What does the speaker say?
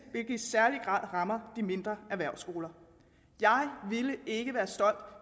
i særlig grad rammer de mindre erhvervsskoler jeg ville ikke være stolt